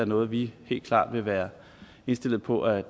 noget vi helt klart vil være indstillet på at